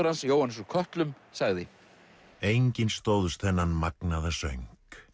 hans Jóhannes úr kötlum sagði enginn stóðst þennan magnaða söng